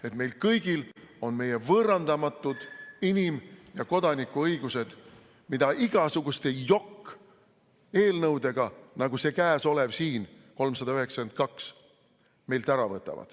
Et meil kõigil oleks meie võõrandamatud inim- ja kodanikuõigused, mida igasuguste jokk-eelnõudega, nagu see käesolev 392 SE, meilt ära ei võetaks.